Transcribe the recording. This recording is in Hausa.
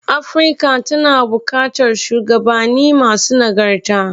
Afirka tana buƙatar shuwagabanni masu nagarta.